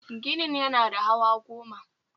Ginin yana da hawa goma